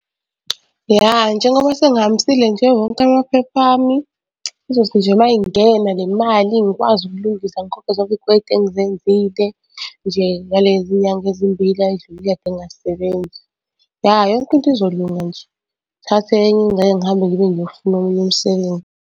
Ya, njengoba sengihambisile nje wonke amaphepha ami, izothi nje uma ingena le mali ngikwazi ukulungisa ngikhokhe zonke iy'kweletu engizenzile nje ngalezi nyanga ezimbila ay'dlulile kade engasebenzi. Ya yonke into izolunga nje, ngithathe enye ingxenye ngihambe ngibe ngiyofuna omunye umsebenzi.